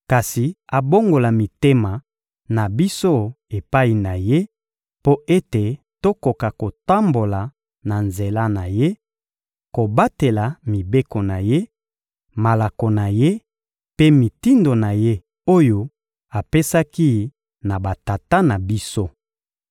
kasi abongola mitema na biso epai na Ye mpo ete tokoka kotambola na nzela na Ye, kobatela mibeko na Ye, malako na Ye mpe mitindo na Ye oyo apesaki na batata na biso.